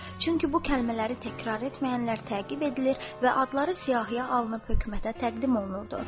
Çünki bu kəlmələri təkrar etməyənlər təqib edilir və adları siyahıya alınıb hökumətə təqdim olunurdu.